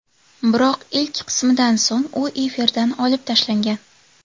Biroq ilk qismidan so‘ng u efirdan olib tashlangan.